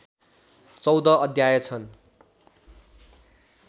१४ अध्याय छन्